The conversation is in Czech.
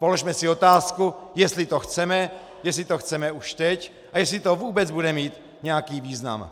Položme si otázku, jestli to chceme, jestli to chceme už teď a jestli to vůbec bude mít nějaký význam.